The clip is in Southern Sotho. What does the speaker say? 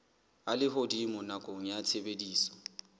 a lehodimo nakong ya tshebediso